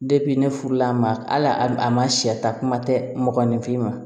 ne furula a ma hali a ma sɛ ta kuma tɛ mɔgɔninfin ma